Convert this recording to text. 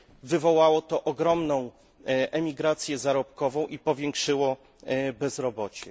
Wywołało to ogromną emigrację zarobkową i powiększyło bezrobocie.